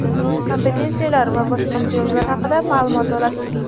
kompensatsiyalar va boshqa imtiyozlar haqida maʼlumot olasiz.